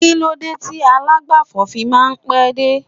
kilode ti alagbafo fi ma n pe dé